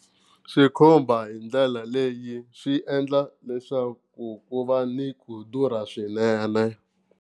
Xikhumba hi ndlela leyi swi endla leswaku ku va ni ku durha swinene.